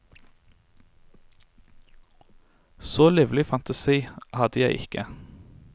Så livlig fantasi hadde jeg ikke.